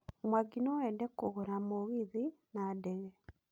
Mwangi noende kũgũra mũgithi na ndege.